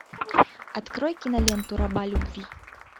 открой киноленту раба любви